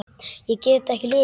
Ég get ekki lifað.